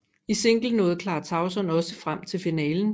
I single nåede Clara Tauson også frem til finalen